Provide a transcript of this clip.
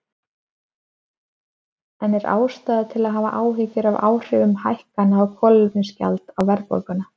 En er ástæða til að hafa áhyggjur af áhrifum hækkana á kolefnisgjaldi á verðbólguna?